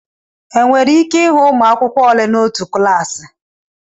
Enwere ike ịhụ ụmụ akwụkwọ ole n'otu klaasị